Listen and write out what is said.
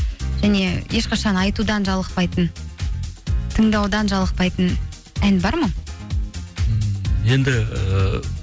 және ешқашан айтудан жалықпайтын тыңдаудан жалықпайтын ән бар ма ммм енді ыыы